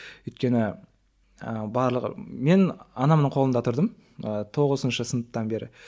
өйткені барлығы мен анамның қолында тұрдым ы тоғызыншы сыныптан бері